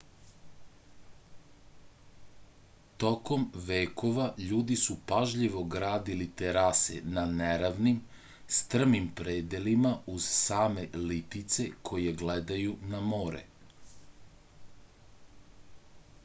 tokom vekova ljudi su pažljivo gradili terase na neravnim strmim predelima uz same litice koje gledaju na more